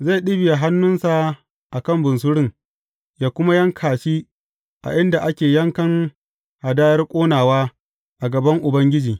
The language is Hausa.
Zai ɗibiya hannunsa a kan bunsurun yă kuma yanka shi a inda ake yankan hadayar ƙonawa a gaban Ubangiji.